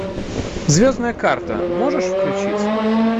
звездная карта можешь включить